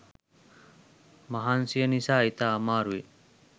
මහන්සිය නිසා ඉතා අමාරුවෙන්